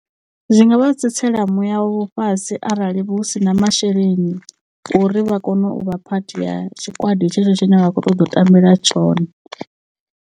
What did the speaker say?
Zwi nga vha tsitsela muya wa vho fhasi arali hu si na masheleni a uri vha kone u vha phathi ya tshikwadi tshetsho tshine vha khou ṱoḓa u tambela tshone.